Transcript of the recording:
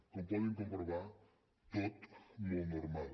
com poden comprovar tot molt normal